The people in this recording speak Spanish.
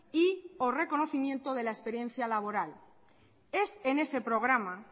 y o reconocimiento de la experiencia laboral es en ese programa